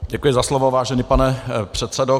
Děkuji za slovo, vážený pane předsedo.